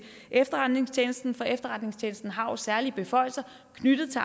efterretningstjenesten for efterretningstjenesten har jo særlige beføjelser knyttet til